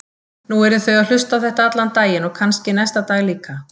Nú yrðu þau að hlusta á þetta allan daginn og kannski næsta dag líka.